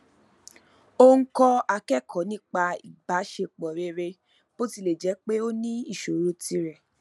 ó ń kọ akẹkọọ nípa ìbáṣepọ rere bó tilẹ jẹ pé ó ní ìṣòro tirẹ